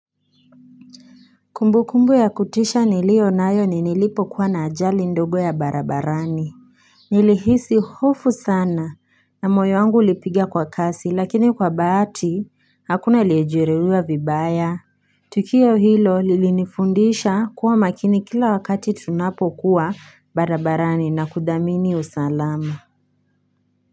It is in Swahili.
Kumbukumbu ya kutisha nilio nayo ni nilipo kuwa na ajali ndogo ya barabarani Nilihisi hofu sana na moyo wangu ulipiga kwa kasi lakini kwa bahati hakuna aliyejeruhiwa vibaya Tukio hilo lilinifundisha kuwa makini kila wakati tunapo kuwa barabarani na kudamini usalama.